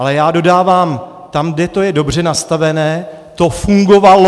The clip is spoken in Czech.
Ale já dodávám - tam, kde to je dobře nastavené, to fungovalo.